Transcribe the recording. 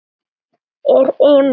Er Emil heima?